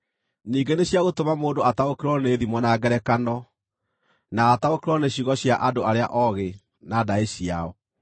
Ningĩ nĩ cia gũtũma mũndũ ataũkĩrwo nĩ thimo na ngerekano, na ataũkĩrwo nĩ ciugo cia andũ arĩa oogĩ, na ndaĩ ciao.